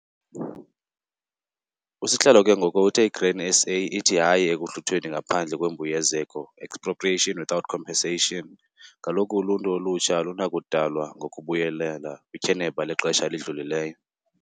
USihlalo ke ngoko uthe iGrain SA ithi 'HAYI' 'Ekuhluthweni ngaPhandle kweMbuyekezo, Expropriation Without Compensation, 'kaloku uluntu olutsha alunakudalwa ngokubuyelela kwityheneba lexesha elidlulileyo'.